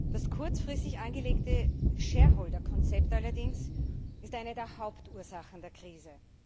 Das kurzfristig angelegte Shareholder Konzept allerdings ist eine der Hauptursachen der Krise.